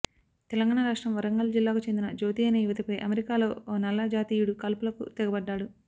తెలంగాణ రాష్ట్రం వరంగల్ జిల్లాకు చెందిన జ్యోతి అనే యువతిపై అమెరికాలో ఓ నల్ల జాతీయుడు కాల్పులకు తెగబడ్డాడు